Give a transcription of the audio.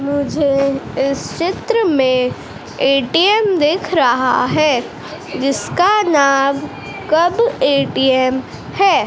मुझे इस चित्र में ए_टी_एम दिख रहा है जिसका नाम कब ए_टी_एम है।